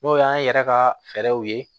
N'o y'an yɛrɛ ka fɛɛrɛw ye